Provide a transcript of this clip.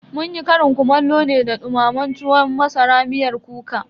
Munyi ƙarin kumallo ne da dumamen tuwon masara miyar kuka.